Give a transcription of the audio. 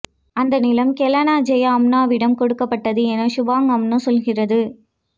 அந்த நிலம் Kelana Jaya அம்னோவிடம் கொடுக்கப்பட்டது என சுபாங் அம்னோ சொல்கிறது